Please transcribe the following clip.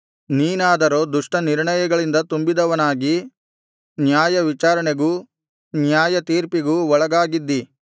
ನೀನಾದರೋ ದುಷ್ಟನಿರ್ಣಯಗಳಿಂದ ತುಂಬಿದವನಾಗಿ ನ್ಯಾಯವಿಚಾರಣೆಗೂ ನ್ಯಾಯತೀರ್ಪಿಗೂ ಒಳಗಾಗಿದ್ದಿ